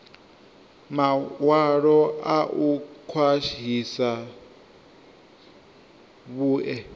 mawalo a u khwahisa vhue